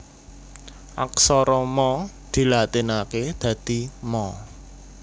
Aksara Ma dilatinaké dadi Ma